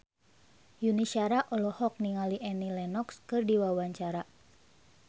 Yuni Shara olohok ningali Annie Lenox keur diwawancara